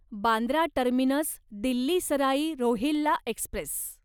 Bandra terminus Delhi Sarai Rohilla Express